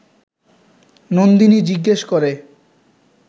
নন্দিনী জিজ্ঞেস করে